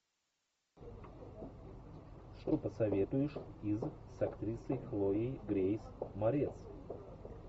что посоветуешь из с актрисой хлоей грейс морец